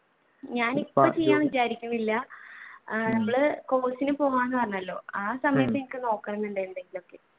ഞാൻ ഇപ്പ ചെയ്യാൻ വിചാരിക്കുന്നില്ല നമ്മൾ course ന് പോവുകയാണെന്ന് പറഞ്ഞല്ലോ ആ സമയത്തു എനിക്ക് നോക്കണമെന്നുണ്ട്.